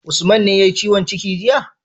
Usman ne yayi ciwon ciki jiya?